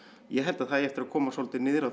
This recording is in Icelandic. ég held að það eigi eftir að koma svolítið niður á